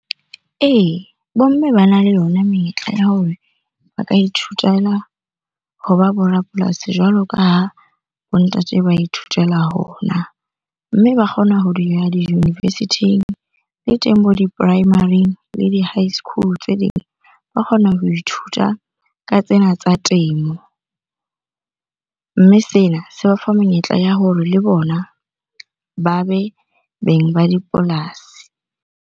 Ee, bo mme bana le yona menyetla ya hore ba ka ithutela hona bo rapolasi jwalo ka ha bo ntate ba ithutela hona. Mme ba kgona ho di-university-ing le teng bo di-primary-ing le di-high school tse ding. Ba kgona ho ithuta ka tsena tsa temo, mme sena se ba fa menyetla ya hore le bona ba be beng ba dipolasi.